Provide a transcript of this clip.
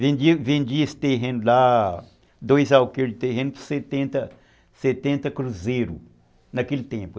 Vendi vendi esse terreno lá, dois alqueires de terreno, por setenta, setenta cruzeiros naquele tempo.